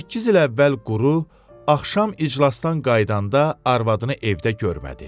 18 il əvvəl Quru axşam iclasdan qayıdanda arvadını evdə görmədi.